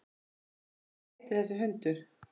Erla: Hvað heitir þessi hundur?